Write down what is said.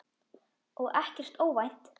Og ekkert óvænt.